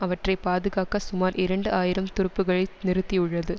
அவற்றை பாதுகாக்க சுமார் இரண்டு ஆயிரம் துருப்புகளை நிறுத்தி உள்ளது